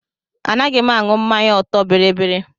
Anaghị m aṅụ mmanya ọtọ biribiri.